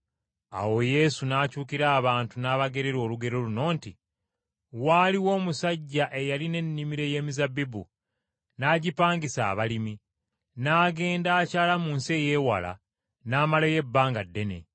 Awo Yesu n’akyukira abantu n’abagerera olugero luno nti, “Waaliwo omusajja eyalina ennimiro ey’emizabbibu, n’agipangisa abalimi, n’agenda olugendo, n’amalayo ebbanga ddene.